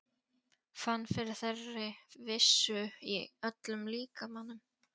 Fann fyrir þeirri vissu í öllum líkamanum.